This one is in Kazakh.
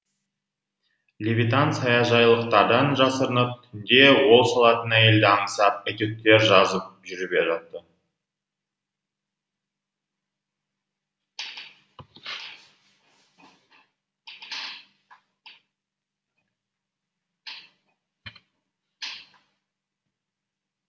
левитан саяжайлықтардан жасырынып түнде он салатын әйелді аңсап этюдтер жазып жүріп жатты